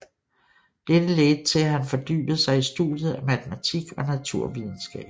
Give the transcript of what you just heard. Dette ledte til at han fordybede sig i studiet af matematik og naturvidenskab